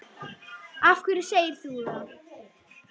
Af hverju segir þú það?